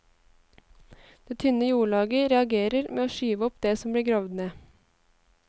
Det tynne jordlaget reagerer med å skyve opp det som blir gravd ned.